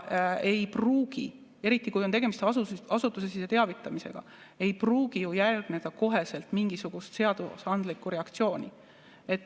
Ei pruugi, eriti, kui on tegemist asutusesisese teavitamisega, ju järgneda kohe mingisugust seadusandlikku reaktsiooni.